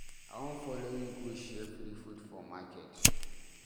I wan follow you go share free food for market.